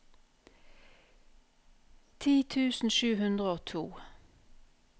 ti tusen sju hundre og to